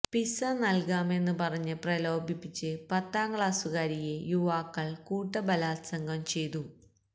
pizza നല്കാമെന്ന് പറഞ്ഞ് പ്രലോഭിപ്പിച്ച് പത്താം ക്ലാസുകാരിയെ യുവാക്കള് കൂട്ടബലാത്സംഗം ചെയ്തു